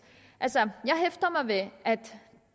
altså jeg hæfter mig ved at